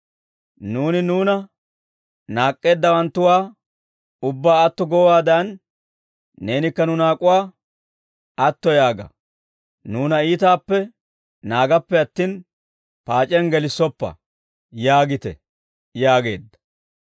Nuuni nuuna naak'k'eeddawanttuwaa, ubbaa atto goowaadan, neenikka nu naak'uwaa atto yaaga; nuuna iitaappe naagappe attin, paac'iyaan gelissoppa› yaagite» yaageedda.